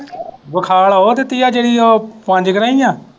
ਵਿਖਾਲ ਉਹ ਦਿੱਤੀ ਆ ਜਿਹੜੀ ਉਹ ਪੰਜ ਗਰਾਈਂ ਆ।